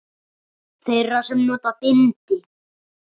Þeirra sem nota bindi?